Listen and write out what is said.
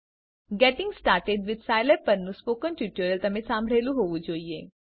gating started with Scilab પરનું spoken tutorial તમે સાંભળેલું હોવું જોઈએ